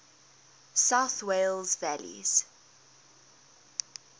south wales valleys